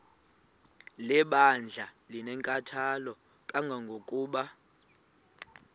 lebandla linenkathalo kangangokuba